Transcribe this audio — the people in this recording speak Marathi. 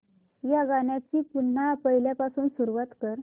या गाण्या ची पुन्हा पहिल्यापासून सुरुवात कर